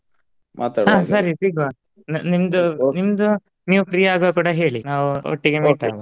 ನಿಮ್ದು ನಿಮ್ದು ನೀವ್ free ಆಗುವಾಗ್ ಕೂಡ ಹೇಳಿ ನಾವ್ ಒಟ್ಟಿಗೆ .